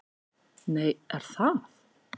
Nei, er það?